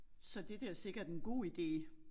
Så det der sikket en god ide